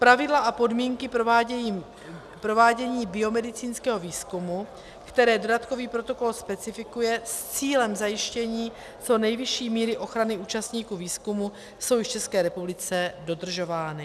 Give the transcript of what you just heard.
Pravidla a podmínky provádění biomedicínského výzkumu, které dodatkový protokol specifikuje s cílem zajištění co nejvyšší míry ochrany účastníků výzkumu, jsou v České republice dodržována.